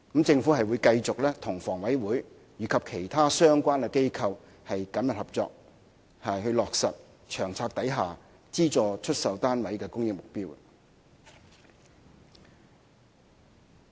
政府會繼續與房委會及其他相關機構緊密合作，落實《策略》下資助出售單位的供應目標。